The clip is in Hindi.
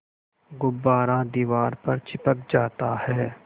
गुब्बारा दीवार पर चिपक जाता है